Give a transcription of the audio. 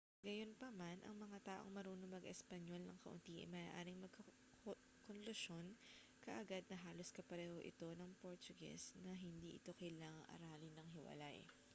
gayunpaman ang mga taong marunong mag-espanyol nang kaunti ay maaaring magkonklusyon kaagad na halos kapareho ito ng portuges na hindi ito kailangang aralin nang hiwalay